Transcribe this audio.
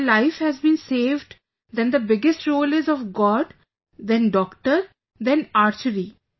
If my life has been saved then the biggest role is of God, then doctor, then Archery